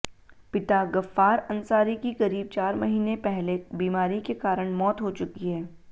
पिता गफ्फार अंसारी की करीब चार महीने पहले बीमारी के कारण मौत हो चुकी है